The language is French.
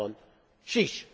Cameron chiche!